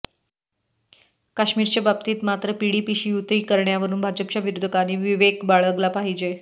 काश्मीरच्या बाबतीत मात्र पीडीपीशी युती करण्यावरून भाजपच्या विरोधकांनी विवेक बाळगला पाहिजे